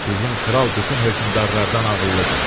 Bizim kral bütün hökmdarlardan ağıllıdır.